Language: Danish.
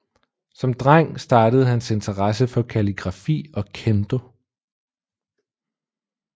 Som dreng startede hans interesse for kalligrafi og Kendo